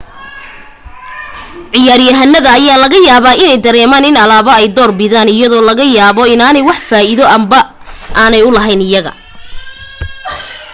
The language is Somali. ciyaar yahanada ayaa laga yaabaa inay dareemaan in alaabo ay door bidaan iyadoo laga yaabo inaanay wax faa'iido ahba u lahayn iyaga